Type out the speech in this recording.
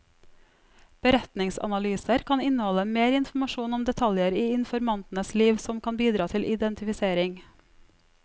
Beretningsanalyser kan inneholde mer informasjon om detaljer i informantenes liv som kan bidra til identifisering.